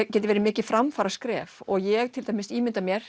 geti verið mikið framfaraskref og ég til dæmis ímynda mér